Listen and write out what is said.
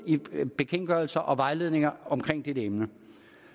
i bekendtgørelser og vejledninger om dette emne